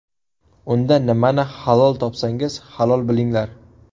Unda nimani halol topsangiz, halol bilinglar!